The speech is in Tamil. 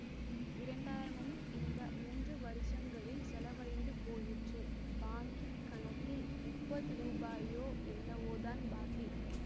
இரண்டு ஆயிரமும் இந்த மூன்று வருஷங்களில் செலவழிந்து போயிற்று பாங்கிக் கணக்கில் முப்பது ரூபாயோ என்னவோதான் பாக்கி